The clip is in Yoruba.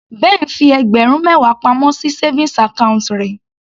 Ben fi ẹgbẹ̀rún mẹwa pamọ́ sí savings account rẹ̀.